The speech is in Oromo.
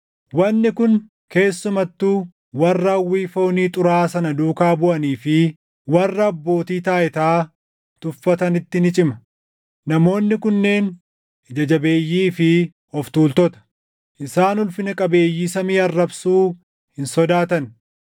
Wanni kun keessumattuu warra hawwii foonii xuraaʼaa sana duukaa buʼanii fi warra abbootii taayitaa tuffatanitti ni cima. Namoonni kunneen ija jabeeyyii fi of tuultota; isaan ulfina qabeeyyii samii arrabsuu hin sodaatan;